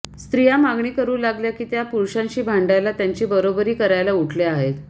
स्त्रिया मागणी करू लागल्या की त्या पुरुषांशी भांडायला त्यांची बरोबरी करायला उठल्या आहेत